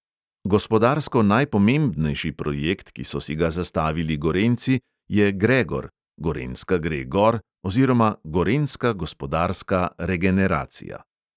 Gospodarsko najpomembnejši projekt, ki so si ga zastavili gorenjci, je gregor (gorenjska gre gor oziroma gorenjska gospodarska regeneracija).